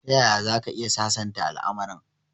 Tayaya zaka iya sasanta al'amarin?